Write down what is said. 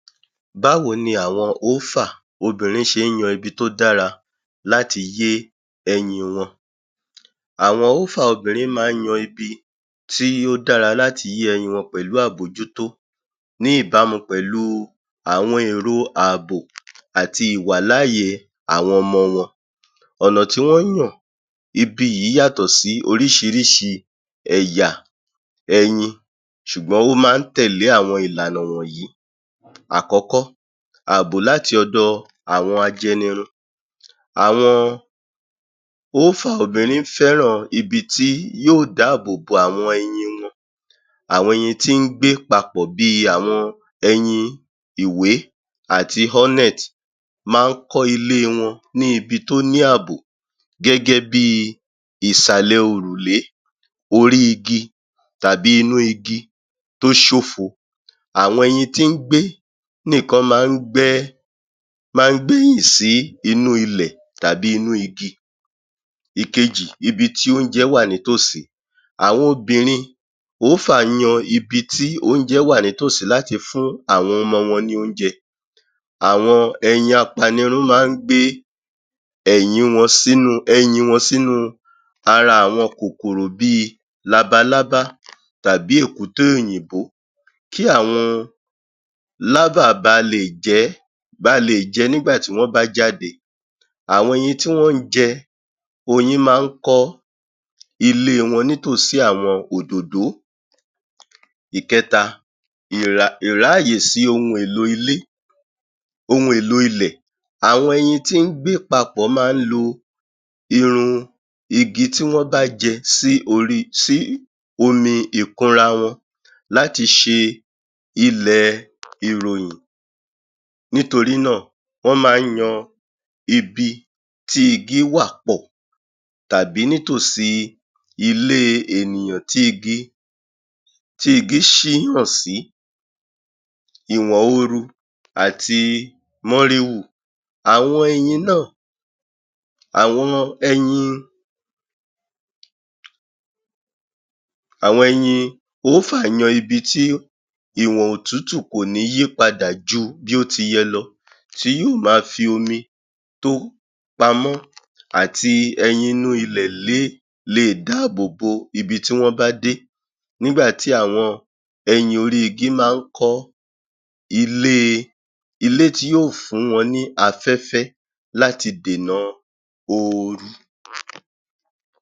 Báwo ni àwọn oófà obìnrin ṣe ń yan ibi tó dára láti yé ẹyin wọn? Àwọn oófà obìnrin máa ń yan ibi tí ó dára láti yé ẹyin wọn pẹ̀lú àbójútó ní ìbámu pẹ̀lú àwọn èrò ààbò àti ìwàláàyè àwọn ọmọ wọn. ọ̀nà tí wọ́n ń yàn, ibi yìí yàtọ sí óríṣiríṣi ẹ̀yà, ẹyin ṣùgbọ́n ó máa ń tẹ̀lé àwọn ìlànà wọ̀nyí. Àkọ́kọ́, àbò láti ọ̀dọ̀ àwọn ajẹnirun. Àwọn oófà obìnrin fẹ́ràn ibi tí yóò dáàbòbo àwọn ẹyin wọn, àwọn ẹyin tí ń gbé papọ̀ bí i àwọn ẹyin ìwé àti hornet[cs máa ń kọ́ ilé wọn ní ibi tó ní ààbò gẹ́gẹ́ bí i ìsàlẹ̀ òrùlé, orí igi tàbí inú igi tó ṣófo. Àwọn ẹyin tí ń gbé níkan máa ń gbẹ́ máa ń gbẹ́ ihò sínú ilẹ̀ tàbí inú igi. Èkejì, ibi tí ilẹ̀ wà nítòsí. Àwọn obìnrin oófà yan ibi tí oúnjẹ wà nítòsí láti fún àwọn ọmọ wọn ní oúnjẹ. Àwọn ẹyẹ apanirun máa ń gbé ẹ̀yin wọn ẹyin wọn sínú ara àwọn kòkòrò bí i labalábá tàbí èkúté òyìnbó kí àwọn larva ba lè jẹ́, ba lè jẹ́ nígbà tí wọ́n bá jáde. Àwọn ẹyẹ tí wọ́n máa ń jẹ oyin máa ń kọ́ ilé wọn nítòsí àwọn òdòdó. Ìkẹta, ìráàyè sí ohun èlò ilé ohun èlò ilẹ̀, àwọn ẹyẹ tí wọ́n máa ń gbé papọ̀ máa ń lo irun igi tí wọ́n bá jẹ sí ori sí omi ìkunra wọn láti ṣe ilẹ̀ ìròyìn. Nítorí náà, wọ́n máa ń yan ibi tí igi wà pọ̀ tàbí nítòsí ilé ènìyàn tí igi tí igi ṣíyàn sí ati àwọn ẹyin náà, àwọn ẹyin àwọn ẹyin oófà yan ibi tí ìwọ̀n òtútù kò ní yí padà ju bí ó ti yẹ lọ. Tí yó máa fi omi tó pamọ́ àti ẹyin inú ilẹ̀ lé lè dáàbòbo ibi tó wọ́n bá dé nígbà tí àwọn ẹyin orí igi máa ń kọ́ ilé ilé tí yóò fún wọn ní afẹ́fẹ́ láti dènà oru.